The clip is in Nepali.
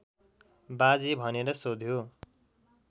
बाजे भनेर सोध्यो